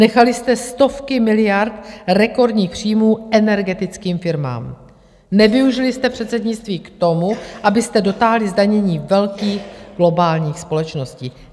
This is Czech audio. Nechali jste stovky miliard rekordních příjmů energetickým firmám, nevyužili jste předsednictví k tomu, abyste dotáhli zdanění velkých globálních společností.